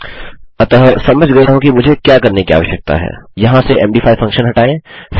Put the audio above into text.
अतः समझ गया हूँ कि मुझे क्या करने की आवश्यकता है यहाँ से मद5 फंक्शन हटाएँ